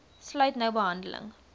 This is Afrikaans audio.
sluit nou behandeling